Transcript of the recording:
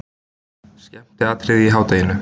Skemmtiatriði í hádeginu!